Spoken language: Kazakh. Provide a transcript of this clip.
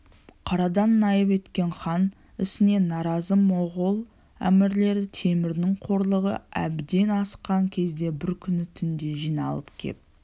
қарадан наип еткен хан ісіне наразы моғол әмірлері темірдің қорлығы әбден асқан кезде бір күні түнде жиналып кеп